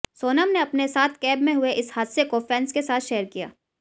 सोनम ने अपने साथ कैब में हुए इस हादसे को फैन्स के साथ शेयर किया